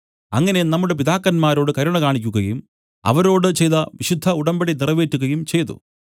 അങ്ങനെ നമ്മുടെ പിതാക്കന്മാരോട് കരുണ കാണിക്കുകയും അവരോട് ചെയ്ത വിശുദ്ധ ഉടമ്പടി നിറവേറ്റുകയും ചെയ്തു